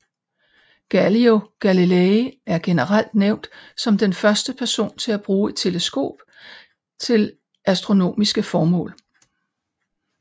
Galileo Galilei er generelt nævnt som den første person til at bruge et teleskop til astronomiske formål